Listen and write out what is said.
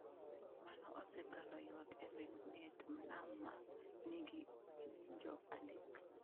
Mano osekelo ywak e wi ng’et nam ma nigi ng’injo adek.